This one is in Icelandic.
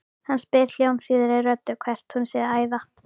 Hann spyr hljómþýðri röddu hvert hún sé að æða.